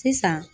Sisan